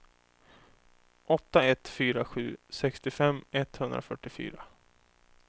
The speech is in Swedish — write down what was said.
åtta ett fyra sju sextiofem etthundrafyrtiofyra